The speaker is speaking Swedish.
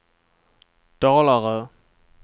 Dalarö